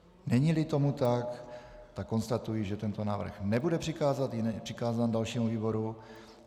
Není-li tomu tak, konstatuji, že tento návrh nebude přikázán dalšímu výboru.